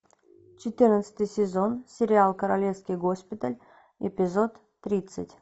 четырнадцатый сезон сериал королевский госпиталь эпизод тридцать